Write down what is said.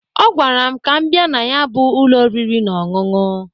Ọgwara m ka m bịa na ya bụ ụlọ ọriri na ọṅụṅụ.